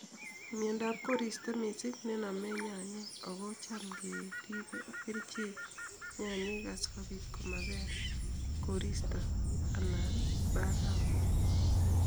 Miondap koristo misiing' nenome nyanyiik ago cham keripen kerichek nyanyiik asikopiit komapel koristo ana barafu